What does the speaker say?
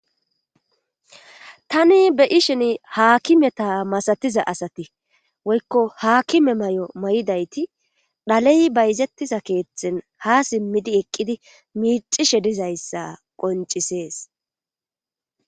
tani be ishen haakimeta masatiza asati woykko haakime may7o may7idayti dhaley bayzettiza keeththen ha simmidi eqqidi miicishe dizayssa qoncisees